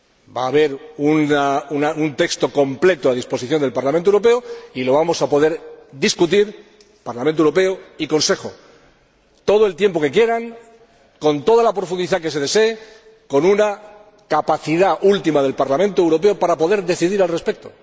Va a haber un texto completo a disposición del Parlamento Europeo y vamos a poder discutirlo entre el Parlamento Europeo y el Consejo todo el tiempo que quieran, con toda la profundidad que se desee y con una capacidad última del Parlamento Europeo para poder decidir al respecto.